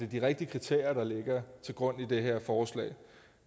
de rigtige kriterier der ligger til grund i det her forslag